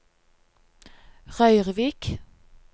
Røyrvik